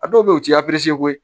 A dɔw be yen u ti koyi